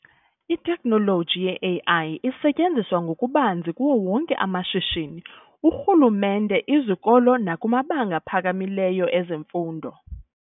Itekhnoloji ye-AI isetyenziswa ngokubanzi kuwo wonke amashishini, urhulumente, izokolo nakumabanga phakalileyo emfondo.